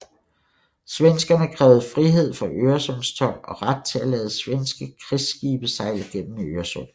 Svenskerne krævede frihed for Øresundstold og ret til at lade svenske krigsskibe sejle gennem Øresund